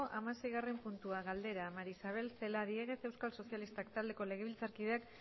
hamaseigarren puntua galdera maría isabel celaá diéguez euskal sozialistak taldeko legebiltzarkideak